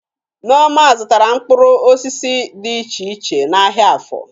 Nneoma zụtara mkpụrụ osisi dị iche iche n'ahịa Áfọ